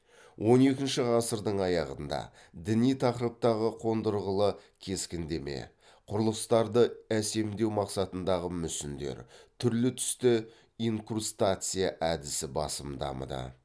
он екінші ғасырдың аяғында діни тақырыптағы қондырғылы кескіндеме құрылыстарды әсемдеу мақсатындағы мүсіндер түрлі түсті инкрустация әдісі басым дамыды